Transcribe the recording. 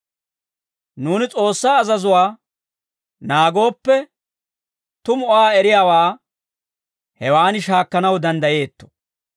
Nuuni S'oossaa azazuwaa naagooppe, tumu Aa eriyaawaa hewan shaakkanaw danddayeetto.